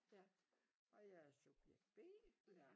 Ja og jeg er subjekt B